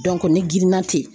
ne girinna ten